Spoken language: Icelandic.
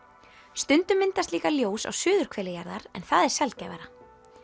stundum myndast líka ljós á suðurhveli jarðar en það er sjaldgæfara